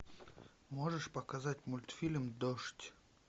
можешь показать мультфильм дождь